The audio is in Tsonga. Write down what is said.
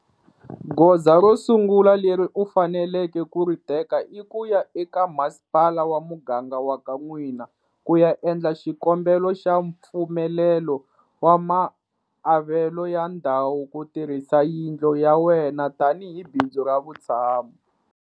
Goza ro sungula leri u faneleke ku ri teka i ku ya eka masipala wa muganga wa ka n'wina ku ya endla xikombelo xa mpfumelelo wa maavelo ya ndhawu ku tirhisa yindlu ya wena tanihi bindzu ra vutshamo.